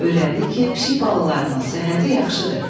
Öyrəndi ki, pişik balalarının səhhəti yaxşıdır.